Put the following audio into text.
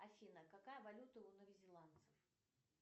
афина какая валюта у новозеландцев